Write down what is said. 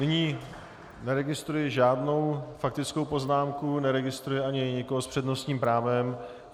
Nyní neregistruji žádnou faktickou poznámku, neregistruji ani nikoho s přednostním právem.